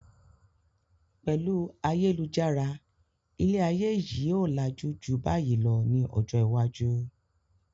Pẹlu ayélujára ilé ayé yìí ó làjú ju báyìí lọ ní ọjọ́ iwájú.